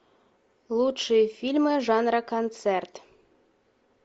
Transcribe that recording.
лучшие фильмы жанра концерт